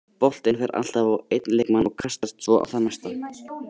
Boltinn fer alltaf á einn leikmann og kastast svo á þann næsta.